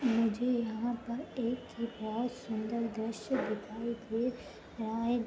मुझे यहाँ पर एक बोहोत सुन्दर दृश्य दिखाई दे रहा है।